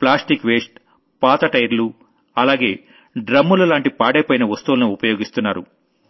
plastic waste పాత టైర్లు అలాగే డ్రమ్ములు లాంటి పాడైపోయిన వస్తువుల్ని ఉపయోగిస్తున్నారు